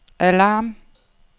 alarm